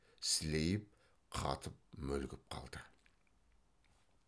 сілейіп қатып мүлгіп қалды